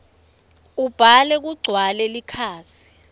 ubhale kugcwale likhasi